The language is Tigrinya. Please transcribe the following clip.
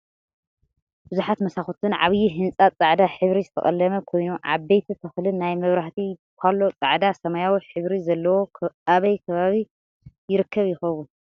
ብዙሓት መሳኩትን ዓብይ ህንፃ ፃዕዳ ሕብሪ ዝተቀለመ ኮይኑ ዓበይቲ ተክልን ናይ መብራህቲ ባሎ ፃዕዳን ሰማያዊን ሕብሪ ዘለዎ ኣበይ ከባቢ ይርከብ ይከውን?